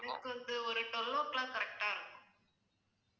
எனக்கு வந்து ஒரு twelve o'clock correct ஆ இருக்கும்